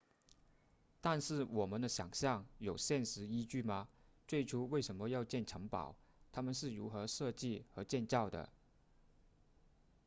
但是我们的想象有现实依据吗最初为什么要建城堡它们是如何设计和建造的